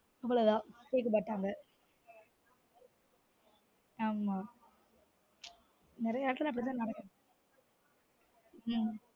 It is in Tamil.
உம் அவ்லோ தான் கேட்க மாட்டாங்க ஆமா நெறய எடத்துல அப்டி தான் நடக்குது உம்